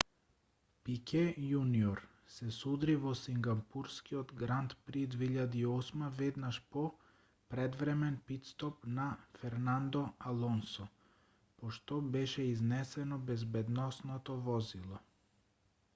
пике јуниор се судри во сингапурскиот гранд при 2008 веднаш по предвремен питстоп на фернандо алонсо по што беше изнесено безбедносното возило